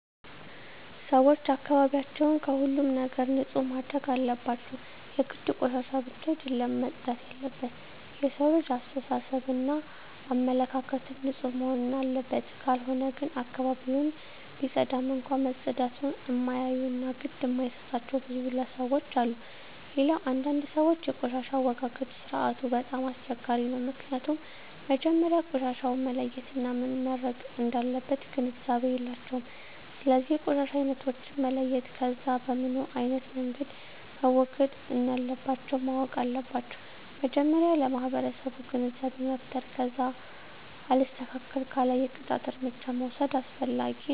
ሰወች አካባቢያቸውን ከሁሉም ነገር ንፁህ ማድረግ አለባቸው የግድ ቆሻሻ ብቻ አደለም መፅዳት የለበት የሠው ልጅ አሰተሳሰብ እና አመለካከትም ንፁህ መሆንና አለበት ካልሆነ ግን አካባቢውን ቢፀዳም እንኳ መፀዳቱን እማያዮ እና ግድ እማይጣቸው ብዙ ለሠዎች አሉ። ሌላው አንዳንድ ሰወች የቆሻሻ አወጋገድ ስርዓቱ በጣም አስቸጋሪ ነው ምክኒያቱም መጀመሪያ ቆሻሻውን መለየት እና ምን መረግ እንዳለበት ግንዛቤ የላቸውም ስለዚ የቆሻሻ አይነቶችን መለየት ከዛ በምኖ አይነት መንገድ መወገድ እንለባቸው ማወቅ አለባቸው መጀመሪያ ለማህበረሰቡ ግንዛቤ መፍጠር ከዛ አልስተካክል ካለ የቅጣት እርምጃ መውስድ አስፈላጊ ነው